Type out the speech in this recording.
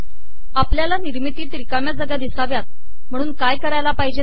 आपलयाला िनिमरतीत िरकामया जागा िदसावयात महणून काय करावे